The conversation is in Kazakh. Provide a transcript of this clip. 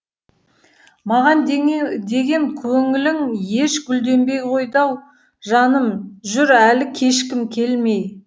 маған деген көңілің еш гүлденбей қойды ау жаным жүр әлі кешкім келмей